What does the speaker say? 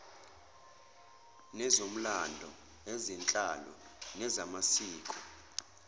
nezomlando ezenhlalo nezamasiko